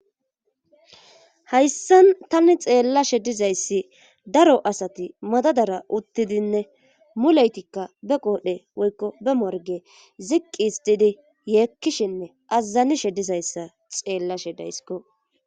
hayssan tani xeellashe dizayssi daro asati madadara uttidinne mulaytikka be qoodhe woykko be morge ziqqis didi yeekkishinne azazanishe dizayssa xeellashe daysiko